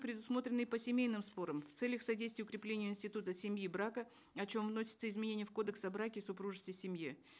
предусмотрены и по семейным спорам в целях содействия укреплению института семьи и брака о чем вносится изменение в кодекс о браке супружестве семье